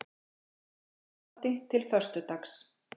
Í gæsluvarðhaldi til föstudags